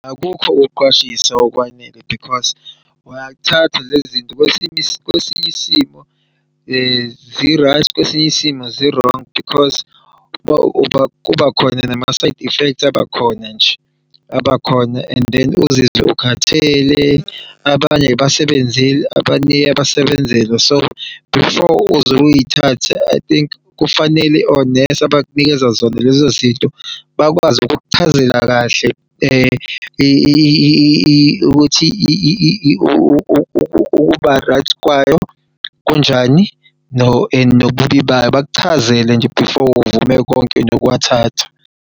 Akukho ukuqwashisa okwanele because uyathatha lezi zinto kwesiny'isimo zi-right kwesinye isimo zi-wrong because kuba khona nama-side effects abakhona nje abakhona and then uzizwe ukhathele abanye ayibasebenzeli abanye iyabasebenzela so before uzoy'thatha I think kufanele onesi abakunikeza zona lezo zinto bakwazi ukukuchazela kahle ukuba-right kwayo kunjani and nobubi bayo. Bakuchazele nje before uvume konke nokuw'thatha.